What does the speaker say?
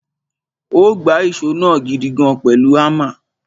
Ó gbá ìṣó náà gidigan pẹ̀lú hámà.